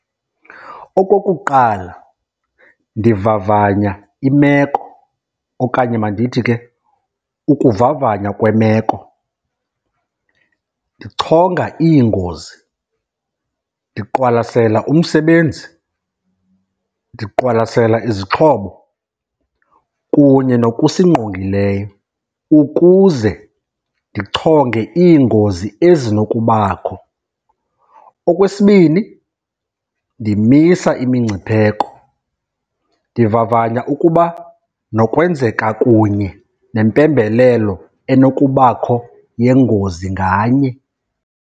Okokuqala, ndivavanya imeko okanye mandithi ke ukuvavanywa kwemeko. Ndichonga iingozi, ndiqwalasela umsebenzi, ndiqwalasela izixhobo kunye nokusingqongileyo ukuze ndichonge iingozi ezinokubakho. Okwesibini, ndimisa imingcipheko. Ndivavanya ukuba nokwenzeka kunye nempembelelo enokubakho yengozi nganye.